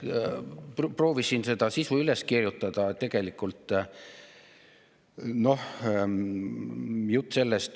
Proovisin seda sisu üles kirjutada.